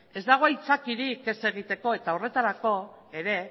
ez dago aitzakiarik ez egiteko eta horretarako ere